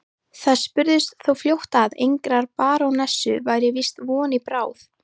Það spurðist þó fljótt að engrar barónessu væri víst von í bráð.